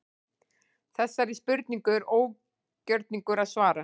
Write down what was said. Þessari spurningu er ógjörningur að svara.